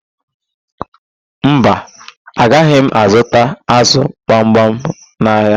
Mba, agaghị m azụta ázụ̀ gbamgbam n'ahịa.